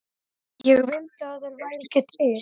Ég vildi að þeir væru ekki til.